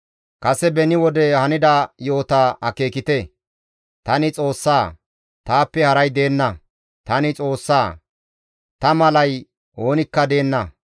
Kase beni wode hanida yo7ota akeekite; tani Xoossa; taappe haray deenna; tani Xoossa; ta malay oonikka deenna.